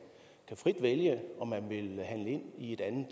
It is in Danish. frit vælge om man vil handle ind i et andet